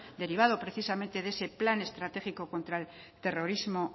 derivado precisamente de ese plan estratégico contra el terrorismo